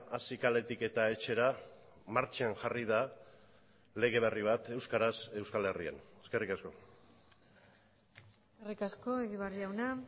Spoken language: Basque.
hasi kaletik eta etxera martxan jarri da lege berri bat euskaraz euskal herrian eskerrik asko eskerrik asko egibar jauna